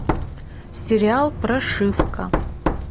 сериал прошивка